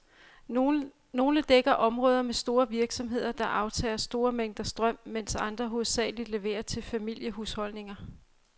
Nogle dækker områder med store virksomheder, der aftager store mængder strøm, mens andre hovedsageligt leverer til familiehusholdninger.